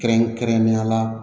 Kɛrɛnkɛrɛnnenya la